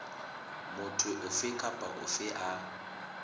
motho ofe kapa ofe a